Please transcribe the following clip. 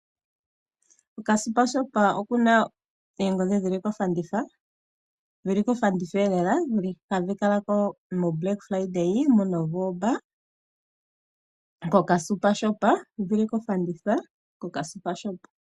Ka Super Shop okuna oongodhi dhi li kofanditha; ha dhi kalako metitano eluudhe mu Novomba kehulilo lela, ha dhi kalako metitano elku sigo omu Novomba.